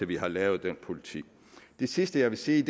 vi har lavet den politik det sidste jeg vil sige